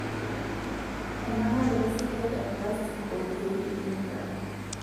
Enangaroto sidai eplastik oorkiek le kemikal.